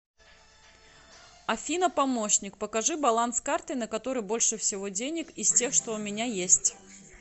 афина помощник покажи баланс карты на которой больше всего денег из тех что у меня есть